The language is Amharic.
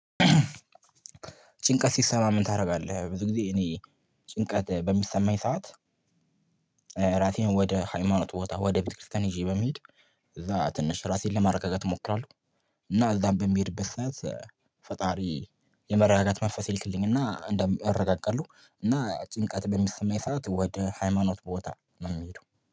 ጭንቀት ሲሰማህ ምን ታደርጋለህ? ብዙ ጊዜ እኔ ጭንቀት በሚሰማኝ ሰዓት ወደ ሃይማኖት ቦታ ወደ ቤተክርስቲያን ይዤ በመሄድ እዛ ትንሽ ራሴን ለማረጋገጥ እሞክራለሁ እና እዛም በምሄድበት ሰዓት ፈጣሪ የመረጋጋት መንፈስ ይልክልኝና እረጋጋለሁ እና ጭንቀት በሚሰማው ሰዓት ወደ ሃይማኖት ቦታ ነው የምሄደው